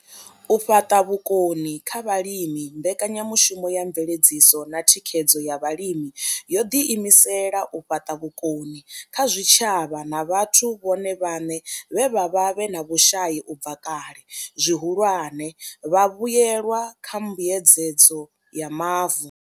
U fhaṱa vhukoni kha vhalimi mbekanyamushumo ya mveledziso na thikhedzo ya vhalimi yo ḓi imisela u fhaṱa vhukoni kha zwitshavha na vhathu vhone vhaṋe vhe vha vha vhe na vhushai u bva kale, zwihulwane, vhavhuelwa kha mbuedzedzo ya mavu.